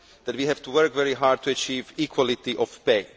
we have to work very hard to achieve equality of pay